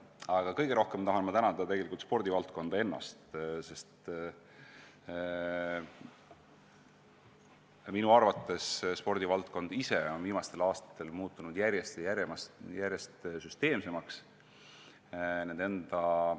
Aga kõige rohkem tahan ma tänada spordivaldkonda ennast – minu arvates on spordivaldkond ise viimastel aastatel muutunud järjest ja järjest süsteemsemaks.